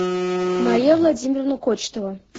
мария владимировна кочетова